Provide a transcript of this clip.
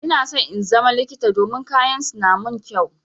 Ina so in zama likita domin kayan su na mun kyau.